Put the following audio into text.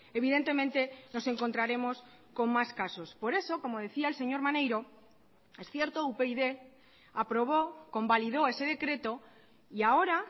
evidentemente nos encontraremos con más casos por eso como decía el señor maneiro es cierto upyd aprobó convalidó ese decreto y ahora